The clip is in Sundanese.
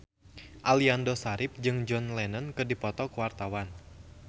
Aliando Syarif jeung John Lennon keur dipoto ku wartawan